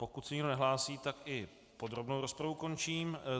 Pokud se nikdo nehlásí, tak i podrobnou rozpravu končím.